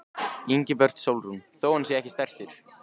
Ingibjörg Sólrún: Þó hann sé ekki stærstur?